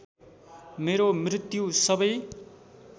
मेरो मृत्यु सबै